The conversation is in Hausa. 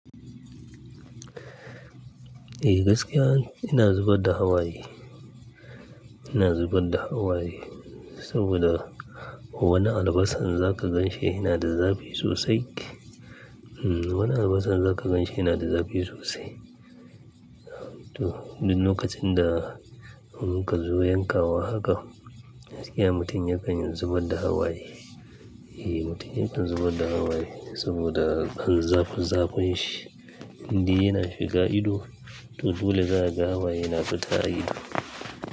Eh gaskiya ina zubar da hawaye, ina zubar da hawaye saboda wani albasan za ka ganshi yana da zafi sosai. uHm, wani albasan za ka ganshi yana da zafi sosai. To, duk lokacin da muka zo yankawa haka, gaskiya mutum yakan zubar da hawaye. Eh, mutum yakan zubar da hawaye saboda dan zafin zafin shi. Indai yana shiga ido, to dole za ka ga hawaye yana fita a ido.